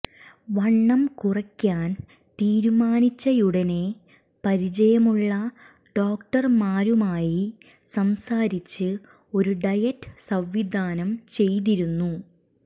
വണ്ണം കുറയ്ക്കാൻ തീരുമാനിച്ചയുടനെ പരിചയമുള്ള ഡോക്ടർമാരുമായി സംസാരിച്ച് ഒരു ഡയറ്റ് സംവിധാനം ചെയ്തിരുന്നു